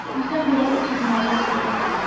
Bizdən belə tünd məcaz görünür.